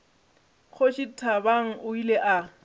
kgoši thabang o ile a